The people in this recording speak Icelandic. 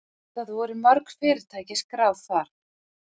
Það voru mörg fyrirtæki skráð þar